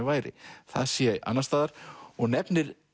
væri það sé annars staðar og nefnir